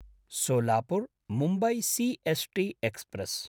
सोलापुर्–मुम्बई C S T express